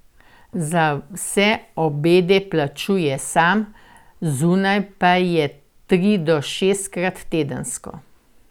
Za vse obede plačuje sam, zunaj pa je tri do šestkrat tedensko.